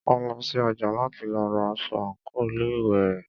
A lọ sí ọjà láti lọ ra aṣọ àńkò ilé ìwé rẹ̀.